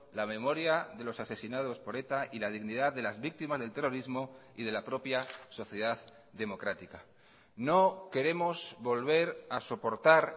la memoria de los asesinados por eta y la dignidad de las víctimas del terrorismo y de la propia sociedad democrática no queremos volver a soportar